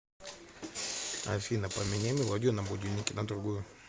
афина поменяй мелодию на будильнике на другую